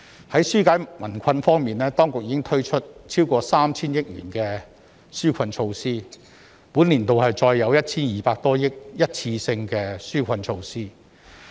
在紓解民困方面，當局已推出超過 3,000 億元的紓困措施，本年度再有 1,200 多億元的一次性紓困措施。